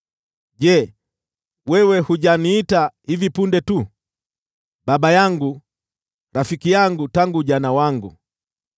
Je, wewe hujaniita hivi punde tu: ‘Baba yangu, rafiki yangu tangu ujana wangu,